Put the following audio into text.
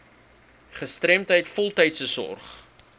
gestremdheid voltydse sorg